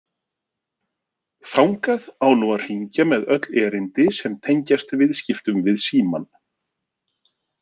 Þangað á nú að hringja með öll erindi sem tengjast viðskiptum við Símann.